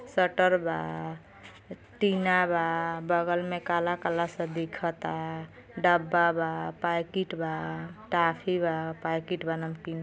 Shutter बाटीना बाबगल मे काला-काला स दिखता। डब्बा बापैकिट बाटॉफ़ी बापैकिट बानमकीन --